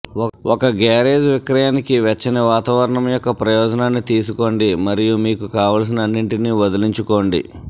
ఒక గ్యారేజ్ విక్రయానికి వెచ్చని వాతావరణం యొక్క ప్రయోజనాన్ని తీసుకోండి మరియు మీకు కావలసిన అన్నింటిని వదిలించుకోండి